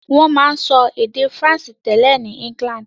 Wọ́n máa ń sọ èdè Faransé tẹ́lẹ̀ ní England